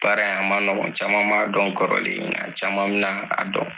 Baara a man mɔgɔn caman m'a dɔn kɔrɔlen nka caman bɛn'a dɔn